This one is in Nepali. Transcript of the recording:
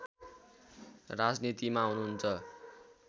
राजनीतिमा हुनुहुन्छ